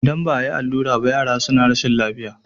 idan ba a yi allura ba yara suna rashin lafiya